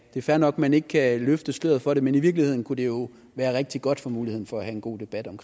er fair nok at man ikke kan løfte sløret for det men i virkeligheden kunne det jo være rigtig godt for muligheden for at have en god debat om